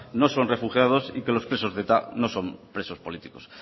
no son refugiados y que los presos de eta no son presos políticos